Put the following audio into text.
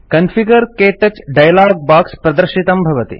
configure - क्तौच dialog box प्रदर्शितं भवति